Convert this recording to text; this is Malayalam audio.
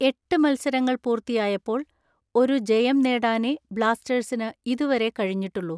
എട്ട് മൽസരങ്ങൾ പൂർത്തിയായപ്പോൾ ഒരു ജയം നേടാനെ ബ്ലാസ്റ്റേഴ്സിന് ഇതുവരെ കഴിഞ്ഞിട്ടുള്ളൂ.